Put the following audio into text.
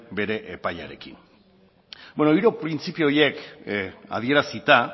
bere epaiarekin hiru printzipio horiek adierazita